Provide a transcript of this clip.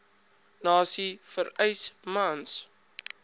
nasie vereis mans